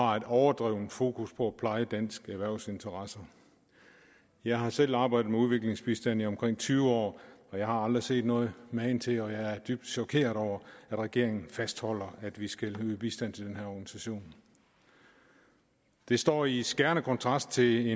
har et overdrevent fokus på at pleje danske erhvervsinteresser jeg har selv arbejdet med udviklingsbistand i omkring tyve år og jeg har aldrig set noget magen til og jeg er dybt chokeret over at regeringen fastholder at vi skal yde bistand til den her organisation det står i skærende kontrast til